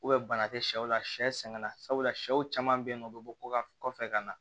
bana tɛ sɛw la sɛ sɛ sɛgɛn na sabula shɛw caman be yen nɔ u bi bɔ ko ka kɔfɛ ka na